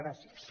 gràcies